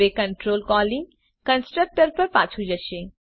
હવે control calling constructor પર પાછું જશે